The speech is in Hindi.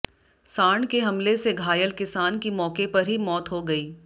सांड के हमले से घायल किसान की मौके पर ही मौत हो गई